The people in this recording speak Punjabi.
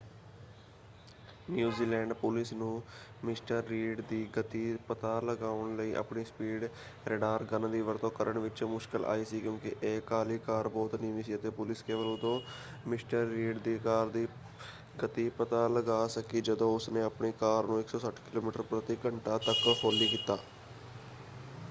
ਨਿਊਜ਼ੀਲੈਂਡ ਪੁਲਿਸ ਨੂੰ ਮਿਸਟਰ ਰੀਡ ਦੀ ਗਤੀ ਪਤਾ ਲਗਾਉਣ ਲਈ ਆਪਣੀ ਸਪੀਡ ਰੈਡਾਰ ਗਨ ਦੀ ਵਰਤੋਂ ਕਰਨ ਵਿੱਚ ਮੁਸ਼ਕਲ ਆਈ ਸੀ ਕਿਉਂਕਿ ਇਹ ਕਾਲੀ ਕਾਰ ਬਹੁਤ ਨੀਵੀਂ ਸੀ ਅਤੇ ਪੁਲਿਸ ਕੇਵਲ ਉਦੋਂ ਮਿਸਟਰ ਰੀਡ ਦੀ ਕਾਰ ਦੀ ਗਤੀ ਪਤਾ ਲਗਾ ਸਕੀ ਜਦੋਂ ਉਸਨੇ ਆਪਣੀ ਕਾਰ ਨੂੰ 160 ਕਿਲੋਮੀਟਰ ਪ੍ਰਤੀ ਘੰਟਾ ਤੱਕ ਹੌਲੀ ਕੀਤਾ।